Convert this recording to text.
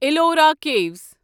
Ellora کیٖوَس